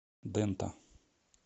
дэнта